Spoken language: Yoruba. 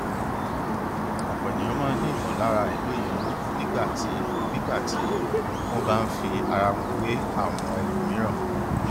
ọpọ ènìyàn máa n ní ìmọlára àìlòye owó nígbà tí nígbà tí wọn bá n fi ara wọn wé àwọn ẹlòmíràn